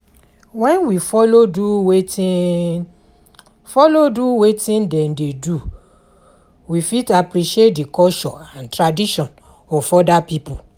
When we follow do wetin follow do wetin dem dey do we fit appreciate the culture and tradition of oda pipo